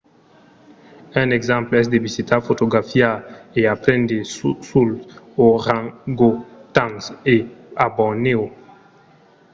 un exemple es de visitar fotografiar e aprendre suls orangotangs a bornèo